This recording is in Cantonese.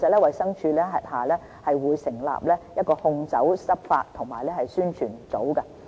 衞生署轄下會成立一個控酒執法及宣傳組。